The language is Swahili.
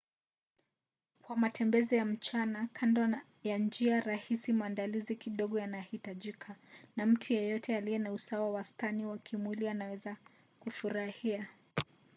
kwa matembezi ya mchana kando ya njia rahisi maandalizi kidogo yanahitajika na mtu yeyote aliye na usawa wastani wa kimwili anaweza kufurahia